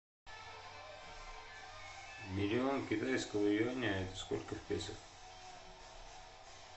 миллион китайского юаня это сколько в песо